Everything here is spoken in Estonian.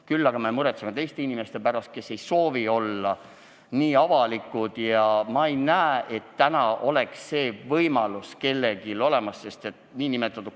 Aga tegelikult me muretseme teiste inimeste pärast, kes ei soovi olla nii avalikud, ja ma ei näe, et täna oleks kellelgi see kardetud võimalus olemas.